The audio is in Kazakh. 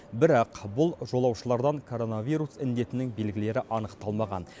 бірақ бұл жолаушылардан коронавирус індетінің белгілері анықталмаған